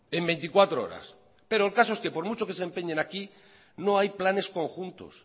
en veinticuatro horas pero el caso es que por mucho que se empeñen aquí no hay planes conjuntos